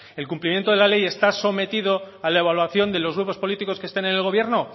el cumplimiento de la ley está sometido a la evaluación de los grupos político que estén en el gobierno